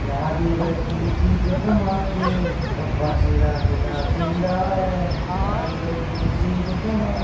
यहां रिवर की चीज कमाके रब्बा सीना हिला दिन्धा है यहां रिवर की चीज कमा --